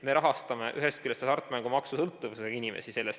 Me rahastame ühest küljest sellest rahast hasartmängusõltuvusega inimesi.